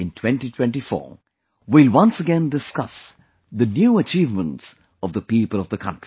In 2024 we will once again discuss the new achievements of the people of the country